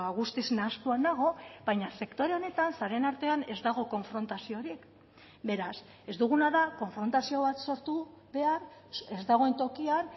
guztiz nahastua nago baina sektore honetan sareen artean ez dago konfrontaziorik beraz ez duguna da konfrontazio bat sortu behar ez dagoen tokian